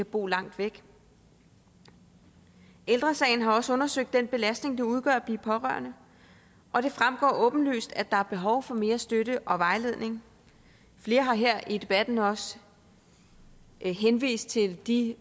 bor langt væk ældre sagen har også undersøgt den belastning det udgør at blive pårørende og det fremgår åbenlyst at der er behov for mere støtte og vejledning flere har her i debatten også henvist til de